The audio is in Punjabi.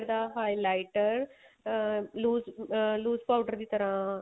ਦਾ highlighter ਅਹ lose ਅਹ lose powder ਦੀ ਤਰ੍ਹਾਂ